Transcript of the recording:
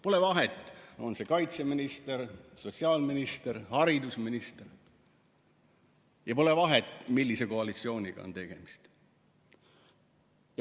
Pole vahet, on see kaitseminister, sotsiaalminister või haridusminister, ja pole vahet, millise koalitsiooniga on tegemist.